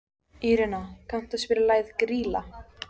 Írena, kanntu að spila lagið „Grýla“?